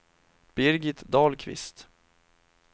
Birgit Dahlqvist